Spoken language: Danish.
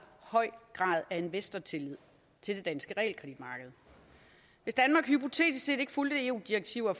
høj grad af investortillid til det danske realkreditmarked hvis danmark hypotetisk set ikke fulgte eu direktiver og